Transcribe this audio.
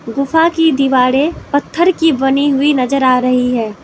गुफा की दीवारें पत्थर की बनी हुई नजर आ रही है।